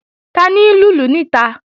Tani ń lùlù níta?